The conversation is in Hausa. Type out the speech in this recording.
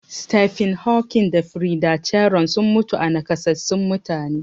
Stephen Hawking da Frida Cheron sun mutu a nakasassun mutane.